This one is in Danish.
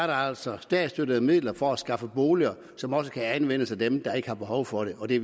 der altså er statsstøttede midler for at skaffe boliger som også kan anvendes af dem der ikke har behov for det og det